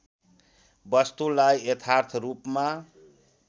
वस्तुलाई यथार्थ रूपमा